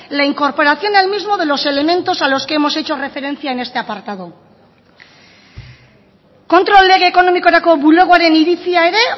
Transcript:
la incorporación al mismo de los elementos a los que hemos hecho referencia en este apartado kontrol lege ekonomikorako bulegoaren iritzia ere